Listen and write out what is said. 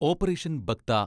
operation buck ത